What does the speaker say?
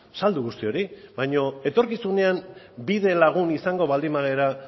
saldu guzti hori baino etorkizunean bidelagun izango baldi bagara